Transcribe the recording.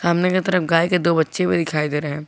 सामने की तरफ गाय के दो बच्चे हुए दिखाई दे रहे हैं।